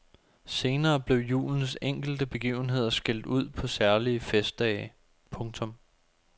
Senere blev julens enkelte begivenheder skilt ud på særlige festdage. punktum